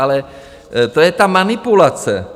Ale to je ta manipulace.